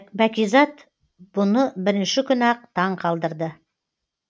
бәкизат бұны бірінші күні ақ таң қалдырды